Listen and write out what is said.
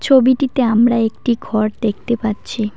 ছবিটিতে আমরা একটি ঘর দেখতে পাচ্ছি।